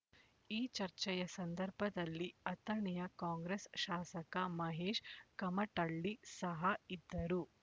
ಈ ಚರ್ಚೆಯ ಸಂದರ್ಭದಲ್ಲಿ ಅಥಣಿಯ ಕಾಂಗ್ರೆಸ್ ಶಾಸಕ ಮಹೇಶ್ ಕಮಟಳ್ಳಿ ಸಹ ಇದ್ದರು